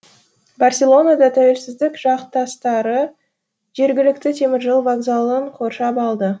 барселонада тәуелсіздік жақтастары жергілікті теміржол вокзалын қоршап алды